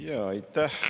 Aitäh!